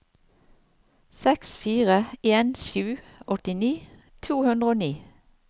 seks fire en sju åttini to hundre og ni